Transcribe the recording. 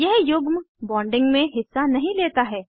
यह युग्म बॉन्डिंग में हिस्सा नहीं लेता है